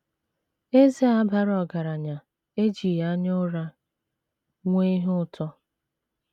Eze a bara ọgaranya ejighị anya ụra nwee ihe ụtọ.